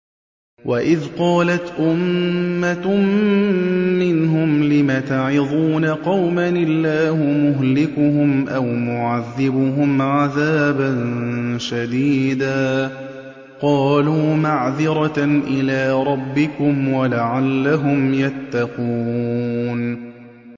وَإِذْ قَالَتْ أُمَّةٌ مِّنْهُمْ لِمَ تَعِظُونَ قَوْمًا ۙ اللَّهُ مُهْلِكُهُمْ أَوْ مُعَذِّبُهُمْ عَذَابًا شَدِيدًا ۖ قَالُوا مَعْذِرَةً إِلَىٰ رَبِّكُمْ وَلَعَلَّهُمْ يَتَّقُونَ